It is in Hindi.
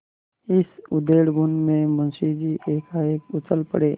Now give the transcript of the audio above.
इसी उधेड़बुन में मुंशी जी एकाएक उछल पड़े